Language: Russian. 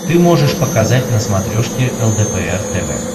ты можешь показать на смотрешке лдпр тв